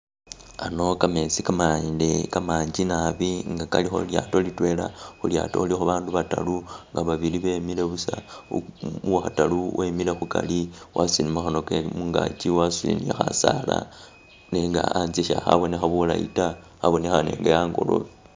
Ano kametsi kamande kamanji naabi nga kalikho lilyato litwela khulyato khulikho abandu bataru nga babili bemiile buusa uwakhataru wemile khukari wasutile kamakhono ke'mugaki wasutile ni Khasaala nenga ankye sikhabonekha bulaayi taa abonekhane nga angolobe